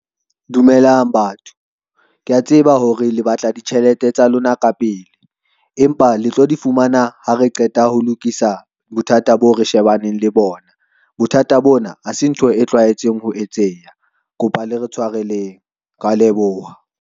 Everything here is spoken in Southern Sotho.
Dumelang batho, ke a tseba hore le batla ditjhelete tsa lona kapele, empa le tlo di fumana ha re qeta ho lokisa bothata boo re shebaneng le bona. Bothata bona ha se ntho e tlwaetseng ho etseha, kopa le re tshwareleng. Ke a leboha.